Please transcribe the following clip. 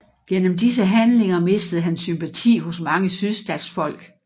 Gennem disse handlinger mistede han sympati hos mange sydstatsfolk